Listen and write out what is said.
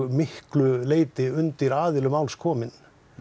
miklu leyti undir aðilum máls komin